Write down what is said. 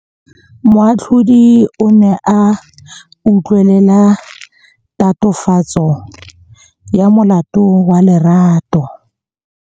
Moatlhodi o ne a utlwelela tatofatsô ya molato wa Lerato.